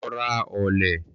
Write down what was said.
Lọ ra ọ̀lẹ̀